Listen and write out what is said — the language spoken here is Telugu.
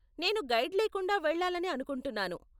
నేను గైడ్ లేకుండా వెళ్లాలని అనుకుంటున్నాను.